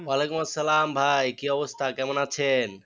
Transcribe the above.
ওয়া ‘আলাইকুমুস সালাম ভাই কি অবস্থা, কেমন আছেন?